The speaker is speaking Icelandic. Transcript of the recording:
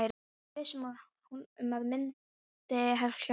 Ég er viss um að það myndi hjálpa mér.